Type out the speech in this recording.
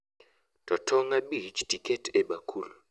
Too tong' abich tiket e bakul